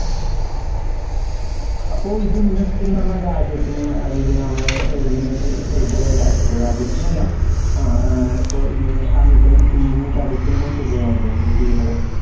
അപ്പോ ഇത് സത്യത്തിൽ നമ്മളെ രാജ്യത്തിനെ അല്ലെങ്കിൽ നമ്മളെ ഏർ ഇതിനെ എ എതിരായിട്ട് രാജ്യത്തിനെ അല്ല ആഹ് ഏർ ഇപ്പൊ ഇങ്ങനെ ആ നിക്കുന്ന team നെ ചതിക്കുന്നതിന് തുല്യമല്ലെ ഇങ്ങനെ ചെയ്യുന്നത്